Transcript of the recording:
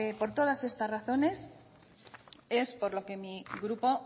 por todas estas razones es por lo que mi grupo